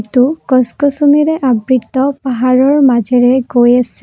গছ গছনিৰে আবৃত্ত পাহাৰৰ মাজেৰে গৈ আছে।